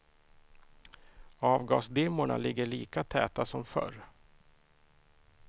Avgasdimmorna ligger lika täta som förr.